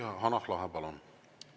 Hanah Lahe, palun!